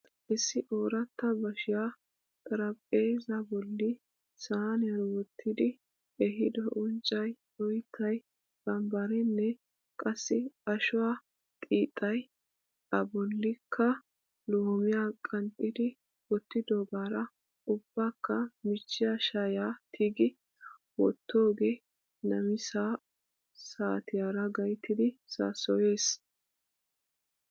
Issi ooratta bashshiya xaraphpheezaa bolli saaniyan wottidi ehiido unccay, oyttay, bambbarenne qassi ashuwa xiixxay A bollikka loomiya qanxxidi wottidoogaara ubbakka michchiya shayiya tigi wottoogee namisa saatiyara gayttid saasoyees.